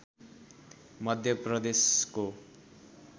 मध्य प्रदेशको